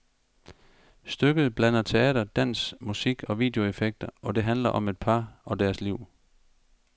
Stykket blander teater, dans, musik og videoeffekter, og det handler om et par og deres liv.